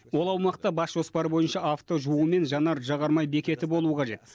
ол аумақта бас жоспар бойынша авто жуу мен жанар жағармай бекеті болу қажет